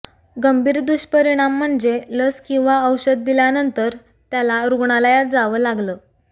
गंभीर दुष्परिणाम म्हणजे लस किंवा औषध दिल्यानंतर त्याला रुग्णालयात जावं लागलं